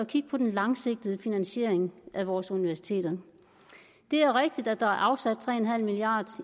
kigge på den langsigtede finansiering af vores universiteter det er rigtigt at der er afsat tre milliard